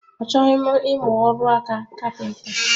Achọghị m imu ákáọrụ kapinta